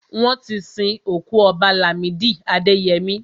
Wọ́n ti sin òkú Ọba Làmídì Adẹyẹmí.